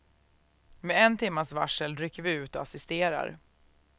Med en timmas varsel rycker vi ut och assisterar.